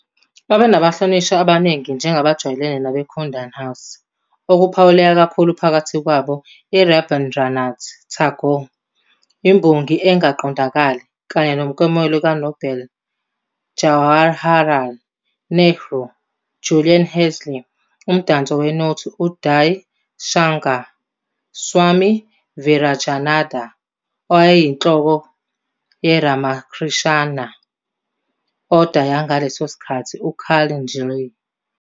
Babenabahlonishwa abaningi njengabajwayelene nabo eKundan House, okuphawuleka kakhulu phakathi kwabo uRabindranath Tagore, imbongi engaqondakali kanye nomklomelo kaNobel, Jawaharlal Nehru, Julian Huxley, umdanso wenothi Uday Shankar, Swami Virajananda, owayeyinhloko yeRamakrishna Order yangaleso sikhathi, uCarl. njll.